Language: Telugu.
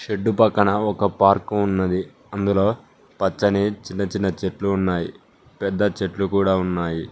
షెడ్డు పక్కన ఒక పార్కు ఉన్నది అందులో పచ్చని చిన్న చిన్న చెట్లు ఉన్నాయి పెద్ద చెట్లు కూడా ఉన్నాయి.